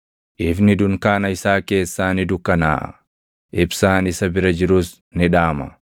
Ifni dunkaana isaa keessaa ni dukkanaaʼa; ibsaan isa bira jirus ni dhaama.